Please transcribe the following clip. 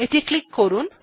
এটি ক্লিক করলাম